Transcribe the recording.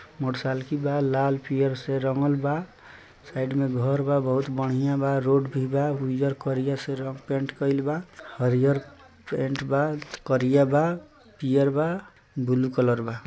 Motorcycle बा लाल पियर से रंगल बा साइड में घर बा बहुत बढ़िया बा रोड भी बा उजर करिया से रंग-पैंट कइल बा हरिआर पैंट बा करीया बा पियर बा ब्लू कलर बा।